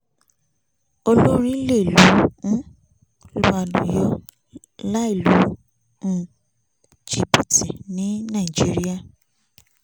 olórin lè um lu àlùyò láì lu um jìbìtì ní nàìjíríà